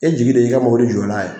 E jigi de ye i ka mobili jɔ n'a ye.